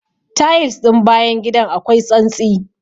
Tayils ɗin bayan gidan akwai tsantsi.